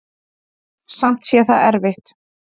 Samt sé það erfitt.